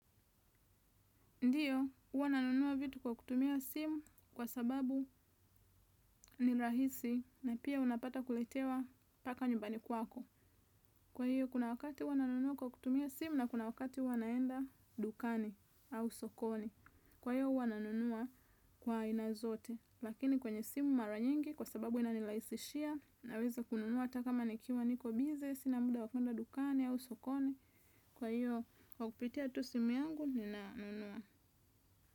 Ndiyo, huwa nanunua vitu kwa kutumia simu kwa sababu ni rahisi na pia unapata kuletewa mpaka nyumbani kwako. Kwa hiyo, kuna wakati huwa nanunua kwa kutumia simu na kuna wakati huwa naenda dukani au sokoni. Kwa hiyo, huwa nanunua kwa aina zote. Lakini kwenye simu mara nyingi kwa sababu inanirahisishia naweza kununua hata kama nikiwa niko bize, sina muda wa kuenda dukani au sokoni. Kwa hiyo, kwa kupitia tu simu yangu ninanunua.